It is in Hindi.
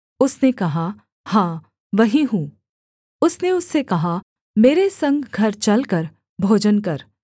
उसने कहा हाँ वही हूँ उसने उससे कहा मेरे संग घर चलकर भोजन कर